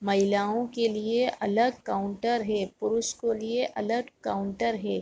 महिलाओं के लिए अलग काउंटर है पुरुष के लियर अलग काउंटर है।